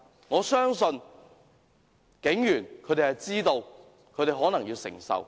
我相信警員知道自己可能要承受這個結果。